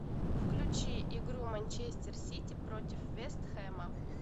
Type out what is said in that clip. включи игру манчестер сити против вест хэма